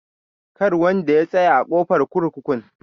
Kar wanda ya tsaya a ƙofar kurkukun.